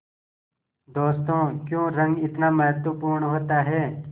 दोस्तों क्यों रंग इतना महत्वपूर्ण होता है